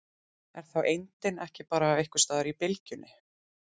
Er þá eindin ekki bara einhvers staðar í bylgjunni?